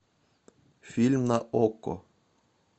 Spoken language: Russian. фильм на окко